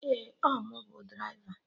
Ee, ọ mụ bụ draịva